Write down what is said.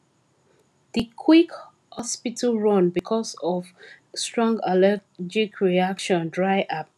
the quick hospital run because of strong allergic reaction dry her pocket